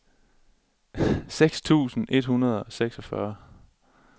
seks tusind et hundrede og seksogfyrre